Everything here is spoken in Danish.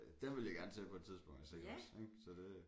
Der vil jeg gerne til på et tidspunkt og se også ik så det